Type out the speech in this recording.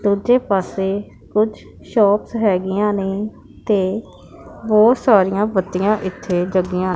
ਦੂਜੇ ਪਾਸੇ ਕੁਝ ਸ਼ੋਪਸ ਹੈਗੀਆਂ ਨੇ ਤੇ ਬਹੁਤ ਸਾਰੀਆਂ ਬੱਤੀਆਂ ਇੱਥੇ ਜਗੀਆਂ --